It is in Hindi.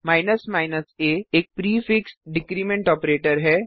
a एक prefix decrement prefix decrement operator है